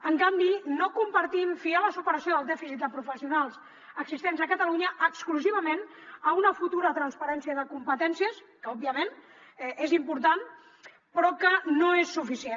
en canvi no compartim fiar la superació del dèficit de professionals existents a catalunya exclusivament a una futura transferència de competències que òbviament és important però que no és suficient